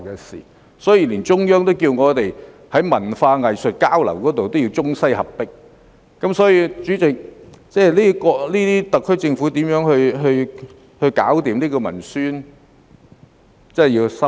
所以，連中央也要我們在文化藝術交流方面要中西合璧，代理主席，特區政府如何"搞掂"文宣，真的要深思。